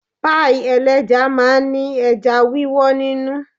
Páì ẹlẹ́ja máa ń ní ẹja wíwó nínú.